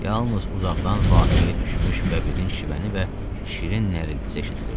Yalnız uzaqdan vahiməyə düşmüş bəbirin şivəni və şirin nəriltisi eşidilirdi.